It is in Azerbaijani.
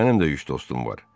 mənim də üç dostum var.